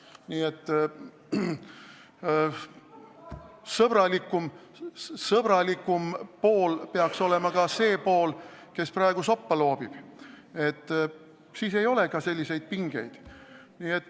Nii et sõbralikum peaks olema ka see pool, kes praegu soppa loobib, siis ei oleks ka selliseid pingeid.